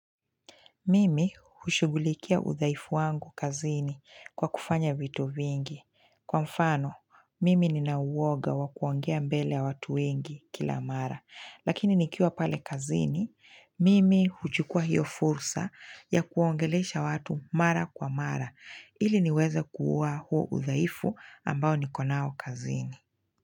Mimi hushugulikia udhaifu wangu kazini kwa kufanya vitu vingi. Kwa mfano, mimi ninauwoga wakuongea mbele ya watu wengi kila mara. Lakini nikiwa pale kazini, mimi huchukua hiyo fursa ya kuongelesha watu mara kwa mara. Iliniweze kuua huo udhaifu ambao nikonao kazini.